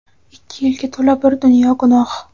Ikki yelka to‘la bir dunyo gunoh.